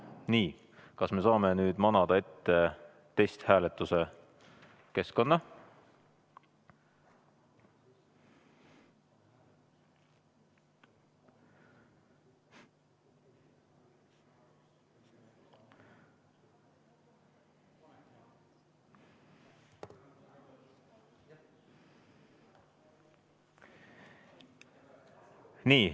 Nii, kas me saame nüüd manada ette testhääletuse keskkonna?